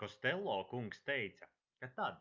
kostello kungs teica ka tad